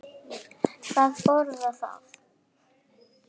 Hvað boðar það?